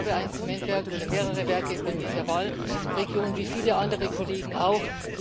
Ich selbst habe ein Zementwerk oder mehrere Werke bei mir in der Wahlregion, wie viele andere Kollegen auch.